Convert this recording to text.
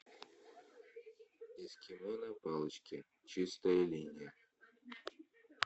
эскимо на палочке чистая линия